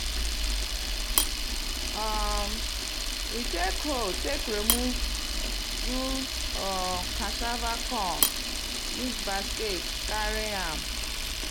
um we take hoe take remove do um cassava kon use basket carry am.